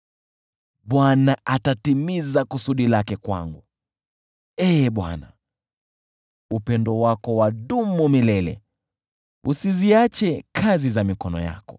Bwana atatimiza kusudi lake kwangu, Ee Bwana , upendo wako wadumu milele: usiziache kazi za mikono yako.